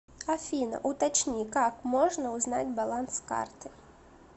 афина уточни как можно узнать баланс карты